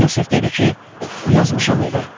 Yusif dedi ki, yazmışam evə.